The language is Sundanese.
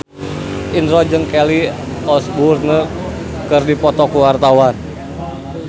Indro jeung Kelly Osbourne keur dipoto ku wartawan